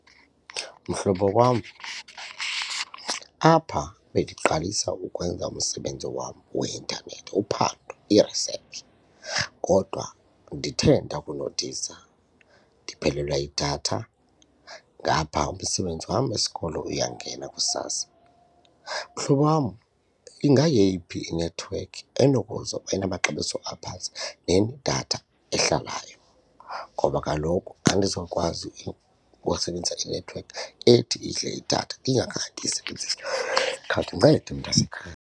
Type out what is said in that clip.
Mhlobo wam, apha bendiqalisa ukwenza umsebenzi wam weintanethi uphando i-research kodwa ndithe ndakunothisa ndiphelelwe yidatha ngapha umsebenzi wam wesikolo uyangena kusasa. Mhlobo wam ingayeyiphi inethiwekhi enamaxabiso aphantsi neneedatha ahlalayo ngoba kaloku andizokwazi ukusebenzisa inethiwekhi ethi idle idatha ndingakhange ndiyisebenzise. Khawundincede mntasekhaya.